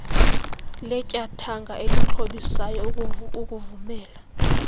letyathanga elixhobisayo ukuvumela